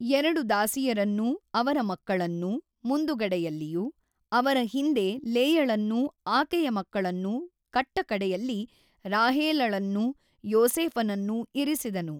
೨ ದಾಸಿಯರನ್ನೂ ಅವರ ಮಕ್ಕಳನ್ನೂ ಮುಂದುಗಡೆಯಲ್ಲಿಯೂ ಅವರ ಹಿಂದೆ ಲೇಯಳನ್ನೂ ಆಕೆಯ ಮಕ್ಕಳನ್ನೂ ಕಟ್ಟಕಡೆಯಲ್ಲಿ ರಾಹೇಲಳನ್ನೂ ಯೋಸೇಫನನ್ನೂ ಇರಿಸಿದನು.